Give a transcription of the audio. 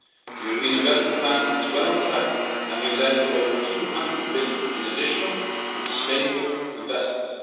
The European investment plan is well on track, having led to more than EUR 200 billion in additional and sustainable investments.